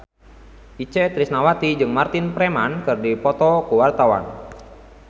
Itje Tresnawati jeung Martin Freeman keur dipoto ku wartawan